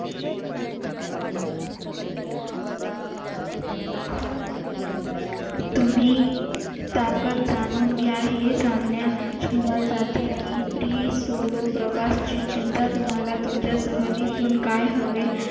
तुम्ही ताकद जाणून घ्या हे सांगण्याशिवाय solo प्रवासची चिंता तुम्हाला तुमच्या सहलीतून काय हवे